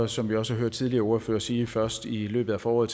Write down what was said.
som vi også har hørt tidligere ordførere sige først i løbet af foråret